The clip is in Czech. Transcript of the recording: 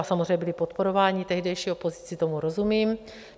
A samozřejmě byli podporováni tehdejší opozicí, tomu rozumím.